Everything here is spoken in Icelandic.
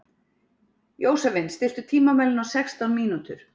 Jósavin, stilltu tímamælinn á sextán mínútur.